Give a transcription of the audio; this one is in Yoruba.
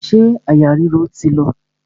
Ṣé àyà ríro ti lọ?